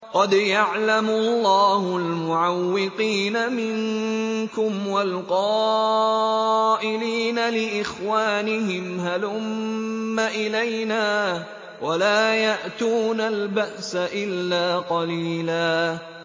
۞ قَدْ يَعْلَمُ اللَّهُ الْمُعَوِّقِينَ مِنكُمْ وَالْقَائِلِينَ لِإِخْوَانِهِمْ هَلُمَّ إِلَيْنَا ۖ وَلَا يَأْتُونَ الْبَأْسَ إِلَّا قَلِيلًا